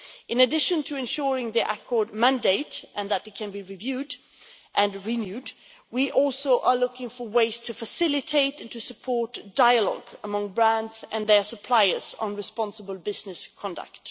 In addition to ensuring the accord mandate and that it can be reviewed and renewed, we are also looking for ways to facilitate and to support dialogue among brands and their suppliers on responsible business conduct.